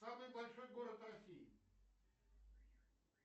самый большой город россии